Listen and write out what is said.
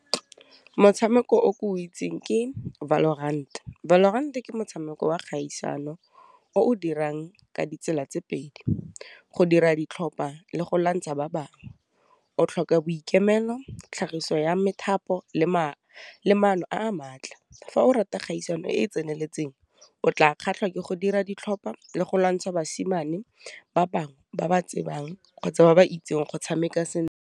Motshameko o ko itseng ke valorant, Valorant ke motshameko wa kgaisano o o dirang ka ditsela tse pedi, go dira ditlhopha le go lwantsha ba bangwe, o tlhoka boikemelo tlhagiso ya methapo le le maano a maatla, fa o rata kgaisano e e tseneletseng o tla kgatlha ke go dira ditlhopha le go lwantsha basimane ba bangwe ba ba tsebang kgotsa ba ba itseng go tshameka sentle.